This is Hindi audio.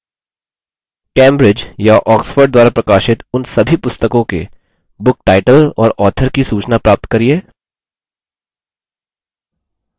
cambridge या oxford द्वारा प्रकाशित उन सभी पुस्तकों के book title और author की सूचना प्राप्त करिये